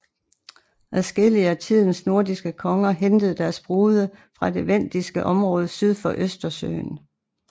Adskillige af tidens nordiske konger hentede deres brude fra det vendiske område syd for Østersøen